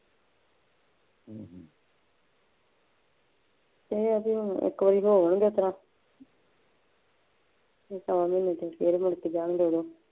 ਅਤੇ ਅਸੀਂ ਹੁਣ ਇੱਕ ਵਾਰੀ ਹੋਰ ਇਸ ਤਰ੍ਹਾਂ ਸ਼ਵਾ ਮਹੀਨੇ ਚ ਫੇਰ ਮੁੜਕੇ ਜਾਣਗੇ ਉਦੋਂ